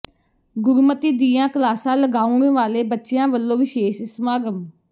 ਗੁਰਮਤਿ ਦੀਆਂ ਕਲਾਸਾਂ ਲਗਾਉਣ ਵਾਲੇ ਬੱਚਿਆਂ ਵੱਲੋਂ ਵਿਸ਼ੇਸ਼ ਸਮਾਗਮ